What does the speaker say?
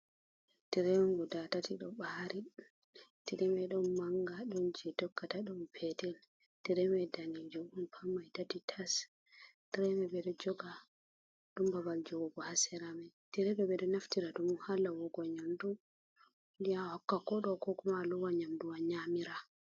Tire on guda tati ɗo ɓaari, tire man wod mannga, ɗon jey tokkata , ɗon peetel, tire man daneejum pat man tati tas, tire may wod babal jogugo haa sera, tire ɓe ɗo naftira ɗum haa loowugo nyamndu ya hokka koɗo ko kuma a loowa nyamndu a nyaamira.